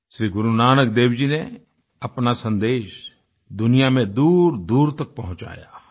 श्री गुरुनानक देव जी ने अपना सन्देश दुनिया में दूरदूर तक पहुँचाया